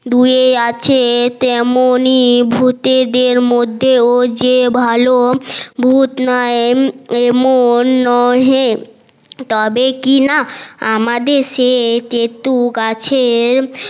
ধুয়ে আছে তেমনি ভুতেদের মধ্যেও যে ভাল ভুত তবে কি না আমাদের সেই তেতুল গাছে